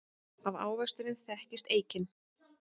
Af ávextinum þekkist eikin.